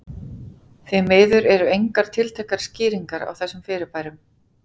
Því miður eru engar tiltækar skýringar á þessum fyrirbærum.